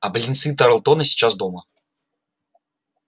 а близнецы тарлтоны сейчас дома